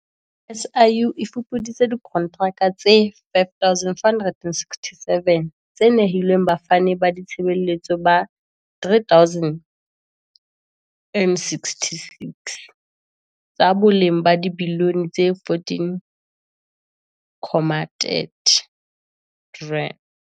SIU e fupuditse dikontraka tse 5 467 tse nehilweng bafani ba ditshebeletso ba 3 066, tsa boleng ba dibiliyone tse R14.3.